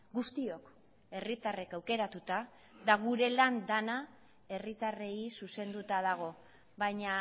guztiok herritarrek aukeratuta eta gure lan dena herritarrei zuzenduta dago baina